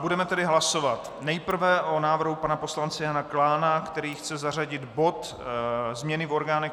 Budeme tedy hlasovat nejprve o návrhu pana poslance Jana Klána, který chce zařadit bod změny v orgánech